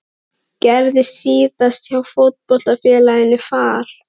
Gerðist síðast hjá Fótboltafélaginu Fal?